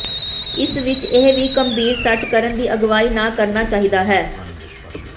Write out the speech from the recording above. ਇਸ ਵਿਚ ਇਹ ਵੀ ਗੰਭੀਰ ਸੱਟ ਕਰਨ ਦੀ ਅਗਵਾਈ ਨਾ ਕਰਨਾ ਚਾਹੀਦਾ ਹੈ